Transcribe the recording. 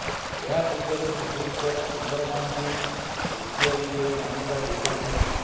ଏହା ପୂର୍ବରୁ ସୁପ୍ରିମକୋର୍ଟ କିନ୍ନରମାନଙ୍କୁ ତୃତୀୟଲିଙ୍ଗୀର ମାନ୍ୟତା ଦେଇ ସାରିଛନ୍ତି